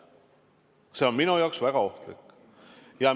See on minu jaoks väga ohtlik!